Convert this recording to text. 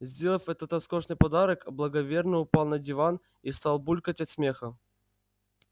сделав этот роскошный подарок благоверный упал на диван и стал булькать от смеха